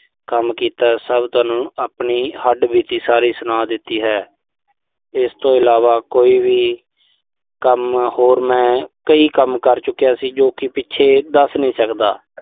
ਕੰਮ ਕੀਤੈ। ਸਭ ਤੁਹਾਨੂੰ ਆਪਣੀ ਹੱਡਬੀਤੀ ਸਾਰੀ ਸੁਣਾ ਦਿੱਤੀ ਹੈ। ਇਸ ਤੋਂ ਇਲਾਵਾ ਕੋਈ ਵੀ ਕੰਮ ਹੋਰ ਮੈਂ ਕਈ ਕੰਮ ਕਰ ਚੁੱਕਿਆ ਸੀ, ਜੋ ਕਿ ਪਿੱਛੇ ਦੱਸ ਨੀਂ ਸਕਦਾ।